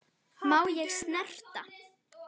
Má ég snerta?